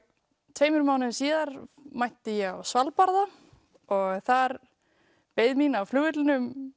tveimur mánuðum síðar mætti ég á Svalbarða og þar beið mín á flugvellinum